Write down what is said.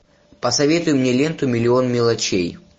посоветуй мне ленту миллион мелочей